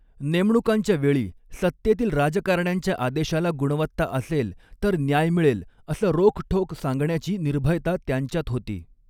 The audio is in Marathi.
नेमणुकांच्या वेळी सत्तेतील राजकारण्यांच्या आदेशाला गुणवत्ता असेल तर न्याय मिळेल असं रोखठोक सांगण्याची निर्भयता त्यांच्यात होती.